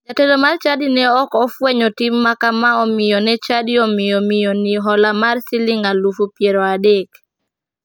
Jatelo mar chadi ne ok ofwenyo tim makama omiyo ne chadi omiyo miyoni hola mar siling alufu piero adek.